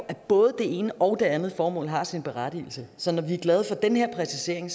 at både det ene og den andet formål har sin berettigelse så når vi er glade for den her præcisering